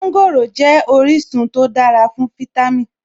Mọ́ńgòrò jẹ́ orísun tó dára fún fítámì